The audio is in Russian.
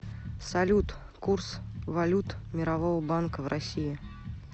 салют курс валют мирового банка в россии